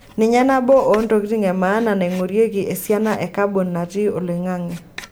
Ninye nabo oo ntokitin e maana naingorieki esiana e kabon natii oloingange.